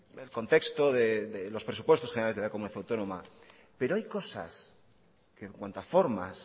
el contexto de los presupuestos generales de la comunidad autónoma pero hay cosas que en cuanto a formas